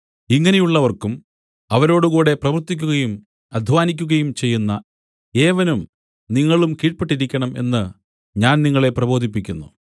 ഇങ്ങനെയുള്ളവർക്കും അവരോടുകൂടെ പ്രവർത്തിക്കുകയും അദ്ധ്വാനിക്കുകയും ചെയ്യുന്ന ഏവനും നിങ്ങളും കീഴ്പെട്ടിരിക്കണം എന്ന് ഞാൻ നിങ്ങളെ പ്രബോധിപ്പിക്കുന്നു